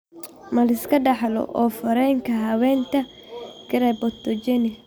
Ma la iska dhaxlo oof wareenka habaynta cryptogenic?